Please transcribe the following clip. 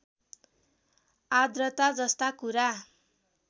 आद्रता जस्ता कुरा